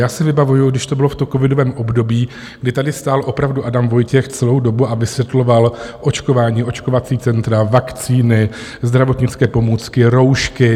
Já si vybavuji, když to bylo v tom covidovém období, kdy tady stál opravdu Adam Vojtěch celou dobu a vysvětloval očkování, očkovací centra, vakcíny, zdravotnické pomůcky, roušky.